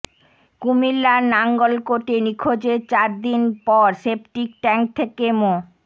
কুমিল্লার নাঙ্গলকোটে নিখোঁজের চার দিন পর সেপটিক ট্যাংক থেকে মো